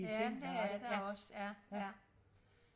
Ja men det er der også ja ja